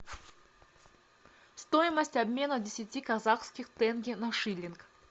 стоимость обмена десяти казахских тенге на шиллинг